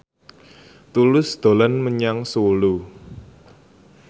Tulus dolan menyang Solo